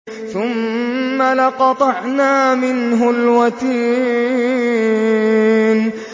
ثُمَّ لَقَطَعْنَا مِنْهُ الْوَتِينَ